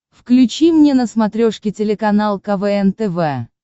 включи мне на смотрешке телеканал квн тв